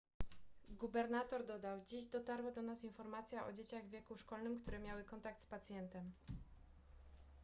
gubernator dodał dziś dotarła do nas informacja o dzieciach w wieku szkolnym które miały kontakt z pacjentem